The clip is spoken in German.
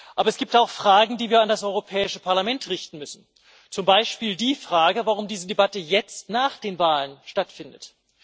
Aber es gibt auch Fragen, die wir an das Europäische Parlament richten müssen, zum Beispiel die Frage, warum diese Debatte jetzt nach den Wahlen stattfindet.